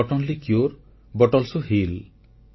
the note only cure but also heel